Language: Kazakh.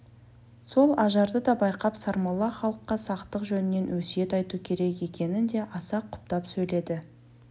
сол ажарды да байқап сармолла халыққа сақтық жөнінен өсиет айту керек екенін де аса құптап сөйледі